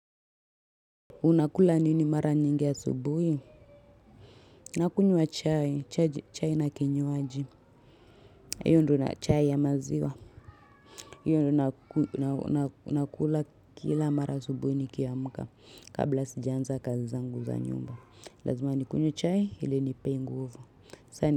Unakula nini mara nyingi asubuhi nakunywa chai chai chai na kinywaji hiyo ndio na chai ya maziwa hiyo ndio nakula kila mara asubuhi nikiamka kabla sijaanza kazi zangu za nyumba lazima nikunywe chai ili inipee nguvu. Saini.